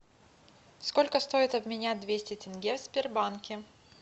сколько стоит обменять двести тенге в сбербанке